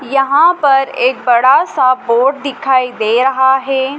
यहां पर एक बड़ा सा बोर्ड दिखाई दे रहा है।